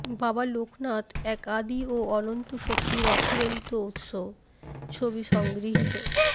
বাবা লোকনাথ এক আদি ও অনন্ত শক্তির অফুরন্ত উৎস ছবি সংগৃহীত